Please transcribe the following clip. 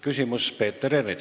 Küsimus Peeter Ernitsalt.